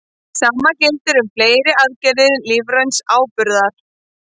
Sama gildir um fleiri gerðir lífræns áburðar.